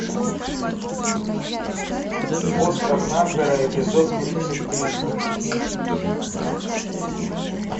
остров харпера эпизод тридцать три